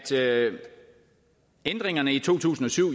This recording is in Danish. ændringerne i to tusind og syv